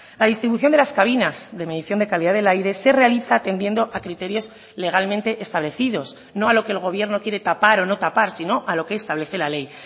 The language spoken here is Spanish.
la distribución de las cabinas de medición de calidad del aire se realiza atendiendo a criterios legalmente establecidos no a lo que el gobierno quiere tapar o no tapar sino a lo que establece la ley